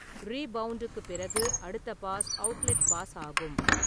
ரீபவுண்டுக்குப் பிறகு அடுத்த pass outlet pass ஆகும்.